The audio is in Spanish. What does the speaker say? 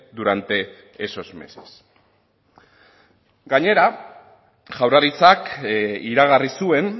durante esos meses gainera jaurlaritzak iragarri zuen